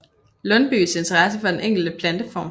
Lundbyes interesse for den enkelte planteform